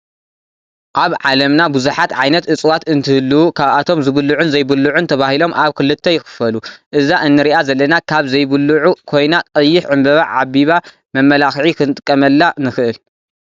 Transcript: ኣብ ዓለምና ብዙሓት ዓይነት እፅዋት እትህልው ካብኣቶም ዝብሉዑን ዘይብልዑን ተባሂሎም ኣብ ክልተ ይክፈሉ። እዛ እንሪኣ ዘለና ካብ ዘይብሉዑ ኮይና ቀይሕ ዕንበባ ዓቢባ መመላክዒ ክንጥቀመላ ንክእል።